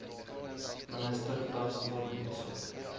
minister tasneem essop